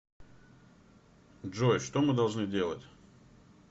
джой что мы должны делать